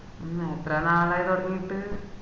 മ്മ് എത്ര നാളായി തൊടങ്ങീട്ട്